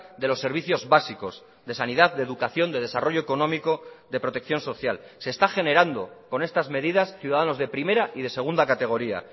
de los servicios básicos de sanidad de educación de desarrollo económico de protección social se está generando con estas medidas ciudadanos de primera y de segunda categoría